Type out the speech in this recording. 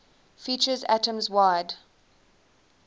features atoms wide